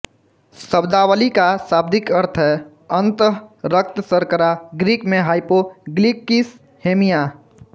शब्दावली का शाब्दिक अर्थ है अन्तः रक्त शर्करा ग्रीक में हाइपो ग्लिकिस हेमिया